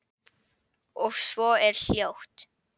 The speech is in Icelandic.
Og svo er hljótt.